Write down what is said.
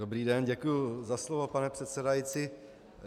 Dobrý den, děkuji za slovo, pane předsedající.